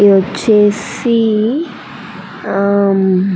ఇది వచ్చేసి ఆహ్ ఆహ్ --